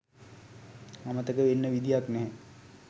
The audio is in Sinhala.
අමතක වෙන්න විදිහක් නැහැ